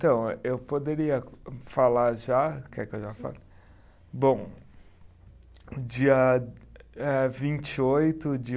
Então, eu poderia falar já, quer que eu já fale? Bom, dia eh, vinte e oito de